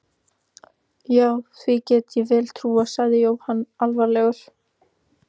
Já, því get ég vel trúað sagði Jóhann alvarlegur.